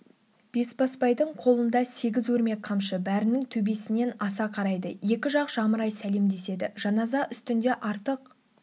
бесбасбайдың қолында сегіз өрме қамшы бәрінің төбесінен аса қарайды екі жақ жамырай сәлемдеседі жаназа үстінде артық